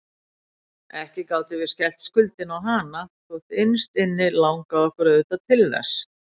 Ekki gátum við skellt skuldinni á hana, þótt innst inni langaði okkur auðvitað til þess.